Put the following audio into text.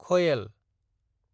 खयेल